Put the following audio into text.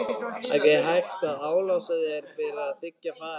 Ekki hægt að álasa þér fyrir að þiggja farið.